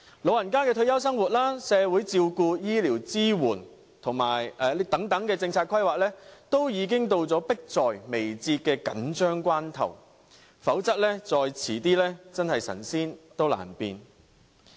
老人家的退休生活、社會照顧、醫療支援等政策規劃，已經到了迫在眉睫的緊張關頭，否則再遲便神仙難變。